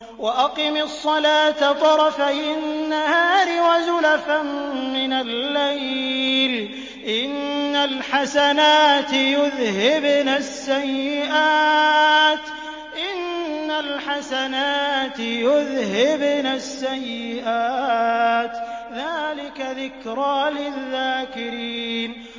وَأَقِمِ الصَّلَاةَ طَرَفَيِ النَّهَارِ وَزُلَفًا مِّنَ اللَّيْلِ ۚ إِنَّ الْحَسَنَاتِ يُذْهِبْنَ السَّيِّئَاتِ ۚ ذَٰلِكَ ذِكْرَىٰ لِلذَّاكِرِينَ